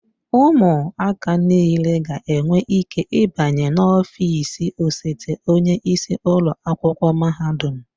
Ụmụaka niile ga-enwe ike ịbanye n'ọfịs osote onye isi ụlọ akwụkwọ mahadum.